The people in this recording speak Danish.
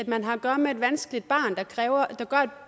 man har at gøre med et vanskeligt barn der gør